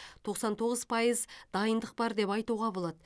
тоқсан тоғыз пайыз дайындық бар деп айтуға болады